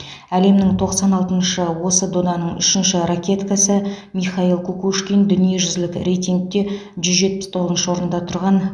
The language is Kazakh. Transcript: әлемнің тоқсан алтыншы осы доданың үшінші ракеткасы михаил кукушкин дүниежүзілік рейтингте жүз жетпіс тоғызыншы орында тұрған